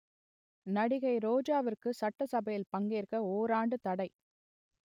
நடிகை ரோஜாவிற்கு சட்டசபையில் பங்கேற்க ஓராண்டு தடை